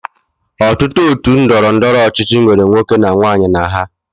Ọtụtụ otu ndọrọndọrọ ọchịchị nwere nwoke na nwaanyị na ha